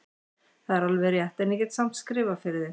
Það er alveg rétt, en ég get samt skrifað fyrir þig.